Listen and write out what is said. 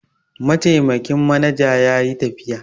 Mataimakin manaja ya yi tafiya.